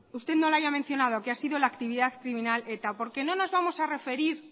usted no la haya mencionado que ha sido la actividad criminal de eta porque no nos vamos a referir